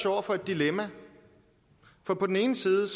over for et dilemma på den ene side